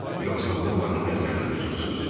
Yoxsa Bollanı nəzərdə tutursuz?